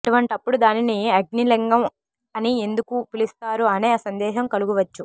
అటువంటప్పుడు దానిని అగ్నిలింగం అని ఎందుకు పిలుస్తారు అనే సందేహం కలుగవచ్చు